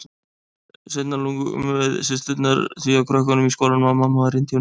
Seinna lugum við systurnar því að krökkunum í skólanum að mamma væri indíáni.